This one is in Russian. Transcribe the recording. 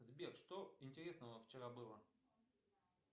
сбер что интересного вчера было